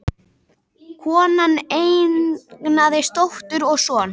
Konan eignaðist dóttur og son